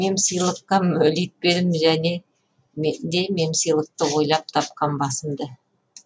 мемсыйлыққа мөлитпедім және де мемсыйлықты ойлап тапқан басымды